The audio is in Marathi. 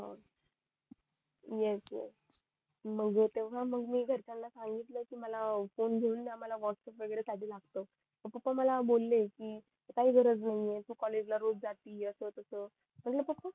एस एस तेव्हा मग मी घरच्यान सांगितलं कि मला फोन घेऊन द्या मला व्हॅटप्प्स वैगेरे साठी लागत पप्पा मला बोले कि काही गरज नाहीये तू कॉलेज ला रोज जाते असं तसं म्हंटल पप्पा